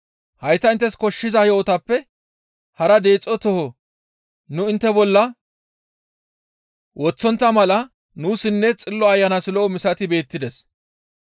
Hayta inttes koshshiza yo7otappe hara deexo tooho nu intte bolla woththontta mala nuussinne Xillo Ayanas lo7o misati beettides.